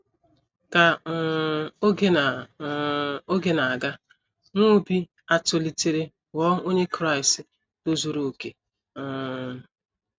Ka um oge na um oge na - aga, nwa Obi a tolitere ghọọ onye Kraịst tozuru okè um.